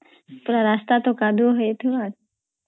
ପୁରା ରାସ୍ତା ତ କାଦୁଆ ହଇଥାଏ